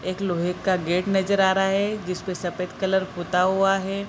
एक लोहे का गेट नजर आ रहा है जिस पर सफेद कलर पुता हुआ है।